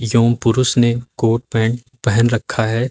पुरुष ने coat pant पहन रखा है।